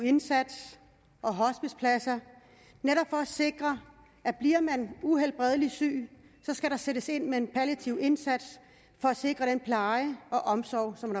indsats og hospicepladser netop for at sikre at bliver man uhelbredeligt syg skal der sættes ind med en palliativ indsats for at sikre den pleje og omsorg som